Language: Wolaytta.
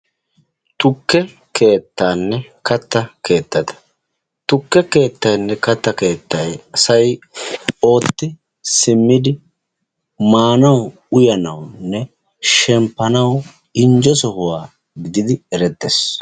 Tukke keettaanne katta keettata. Tukke keettaynne kattaa keettay asay ootti simmidi maanawu, uyanawunne shemppanawu injje sohuwa gididi erettees.